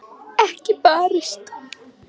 Ekki barist.